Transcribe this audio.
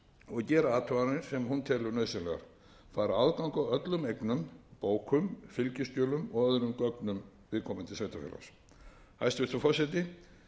og gera athuganir sem hún telur nauðsynlegar fær aðgang að öllum eignum bókum fylgiskjölum og öðrum gögnum viðkomandi sveitarfélags hæstvirtur forseti ég vil leyfa mér